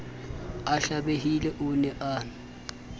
a hlabehile o ne a